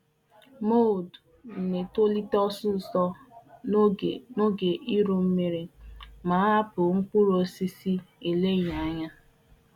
Nje nke na -ama ihe evu na-eto ọsọsọ ma enwee chi orukpụrụ orukpụrụ ma ọbụrụ na anaghị lebara ihe ọkụkụ anya nke ọma.